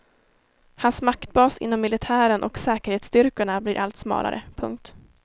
Hans maktbas inom militären och säkerhetsstyrkorna blir allt smalare. punkt